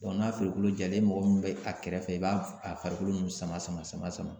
n'a farikolo jalen e mɔgɔ min bɛ a kɛrɛfɛ i b'a a farikolo nun sama sama sama sama.